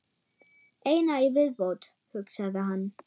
Eina í viðbót, hugsaði hann.